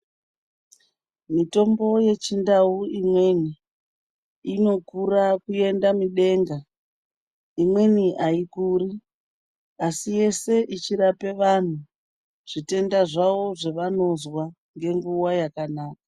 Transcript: Mitombo yechindau imweni inokura kuenda midenga imweni aikuri asi yese ichirape vantu zvitenda zvavo zvavanonzwa ngenguva yakanaka.